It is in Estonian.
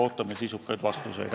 Ootame sisukaid vastuseid.